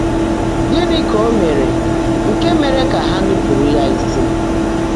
Gị́ní kà Ó meèré nkè meèré kà há nụ́pụ́rụ́ yá ísí?